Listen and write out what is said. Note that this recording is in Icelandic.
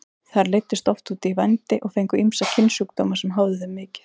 Þær leiddust oft út í vændi og fengu ýmsa kynsjúkdóma sem háðu þeim mikið.